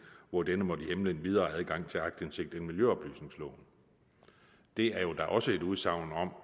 hvor denne måtte hæmme den videre adgang til aktindsigt i miljøoplysningsloven det er jo da også et udsagn når